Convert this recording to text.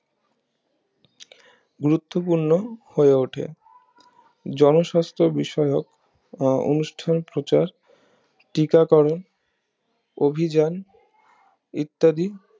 গুরুত্বপূর্ণ হয়ে ওঠে জনস্বাস্থ বিষয়ক অনুষ্ঠান প্রচার টিকাকরণ অভিযান ইত্যাদি